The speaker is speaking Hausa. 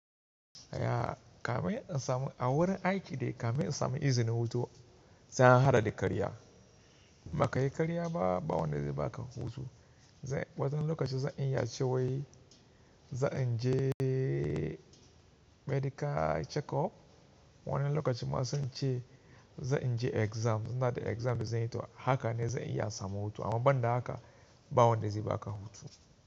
Yaa kamin in samu a wurin aiki dai kamin in samu izinin hutu sai an haɗa da karya. Baka yi karya ba, ba wanda zai baka hutu. Z Wani lokaci zan iya cewai za in je medical checkup. Wani lokaci ma zan ce za in je exam, ina da exam da zan yi. Haka ne zan iya samu hutu, amma banda haka ba wanda zai baka hutu.